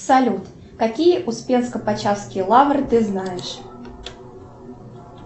салют какие успенско почаевские лавры ты знаешь